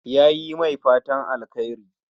Yayi mai fatan alkhairi